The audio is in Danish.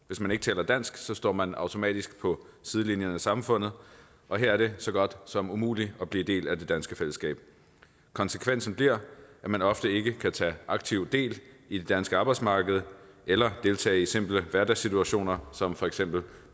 hvis man ikke taler dansk står man automatisk på sidelinjen af samfundet og her er det så godt som umuligt at blive en del af det danske fællesskab konsekvensen bliver at man ofte ikke kan tage aktivt del i det danske arbejdsmarked eller deltage i simple hverdagssituationer som for eksempel